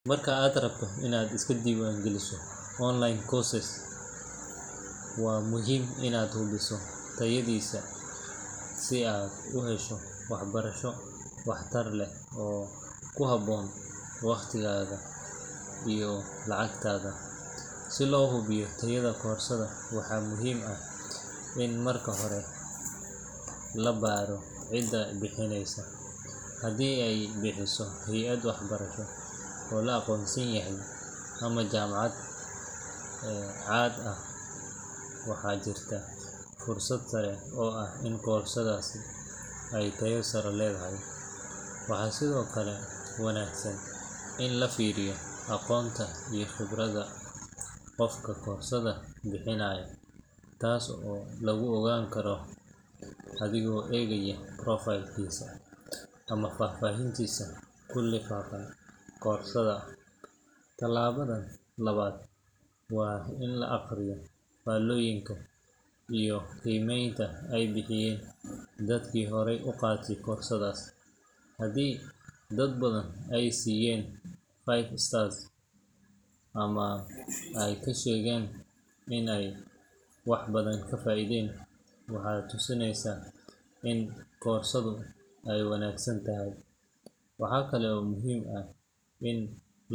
Marka aad rabto inaad iska diiwaangeliso online course, waa muhiim inaad hubiso tayadiisa si aad u hesho waxbarasho waxtar leh oo ku habboon waqtigaaga iyo lacagtaada. Si loo hubiyo tayada koorsada, waxaa muhiim ah in marka hore la baaro cidda bixinaysa. Haddii ay bixiso hay’ad waxbarasho oo la aqoonsan yahay ama jaamacad caan ah, waxaa jirta fursad sare oo ah in koorsadaasi ay tayo sare leedahay. Waxaa sidoo kale wanaagsan in la fiiriyo aqoonta iyo khibradda qofka koorsada bixinaya, taas oo lagu ogaan karo adigoo eegaya profile-kiisa ama faahfaahinta ku lifaaqan koorsada. Talaabada labaad waa in la akhriyo faallooyinka iyo qiimeynta ay bixiyeen dadkii horay u qaatay koorsadaas. Haddii dad badan ay siiyeen five stars ama ay ka sheegeen inay wax badan ka faa’iideen, waxay tusinaysaa in koorsadu ay wanaagsan tahay. Waxaa kale oo muhiim ah in.